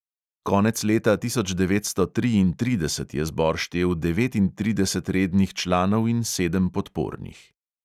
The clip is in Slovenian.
Konec leta tisoč devetsto triintrideset je zbor štel devetintrideset rednih članov in sedem podpornih.